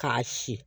K'a si